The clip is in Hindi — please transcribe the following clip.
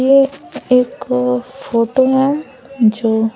ये एक फोटो हैं जो--